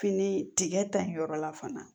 Fini tigɛ ta in yɔrɔ la fana